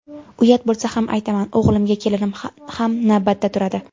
Uyat bo‘lsa ham aytaman, og‘ilimga kelinim ham navbatda turadi.